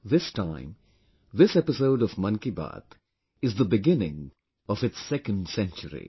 This time this episode of 'Mann Ki Baat' is the beginning of its 2nd century